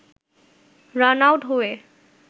run-out হয়ে